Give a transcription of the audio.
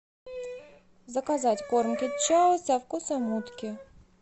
заказать корм кэт чау со вкусом утки